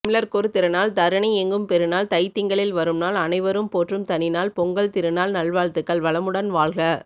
தமிழர்க்கொரு திருநாள் தரணியெங்கும் பெருநாள் தைத்திங்களில் வரும்நாள் அனைவரும்போற்றும் தனிநாள் பொங்கல் திருநாள் நல்வாழ்த்துக்கள் வளமுடன் வாழ்க